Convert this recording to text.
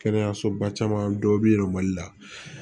Kɛnɛyasoba caman dɔ bi yɛlɛ mali la